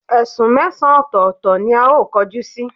Esún mesan otòòto ni ao koju si